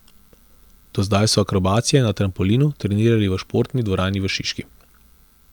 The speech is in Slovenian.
Do zdaj so akrobacije na trampolinu trenirali v športni dvorani v Šiški.